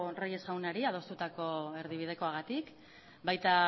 reyes jaunari adostutako erdibidekoagatik baita